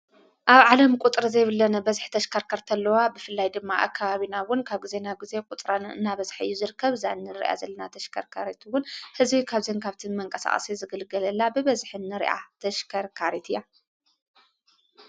ኣብ ዓለም ቊጥሪ ዘይብለነ በዚኅ ተሽከርከር ንተለዋ ብፍላይ ድማ ኣካባቢናውን ካብ ጊዜና ጊዜ ቊጥረን እናበዝሕዪ ዝርከብ ዛንን ርያ ዘለና ተሽከርካሬትውን ሕዝቢይ ካብዘንካብቲን መንቀሳኣሰት ዝግልገለላ ብበዝኅኒ ርኣ ተሽከርካሬት እያ።